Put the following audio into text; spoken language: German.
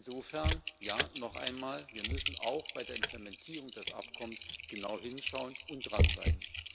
Und insofern, ja noch einmal Wir müssen auch bei der Implementierung des Abkommens genau hinschauen und dranbleiben.